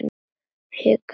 Hikaði aftur.